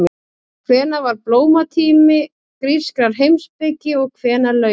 Hvenær var blómatími grískrar heimspeki og hvenær lauk honum?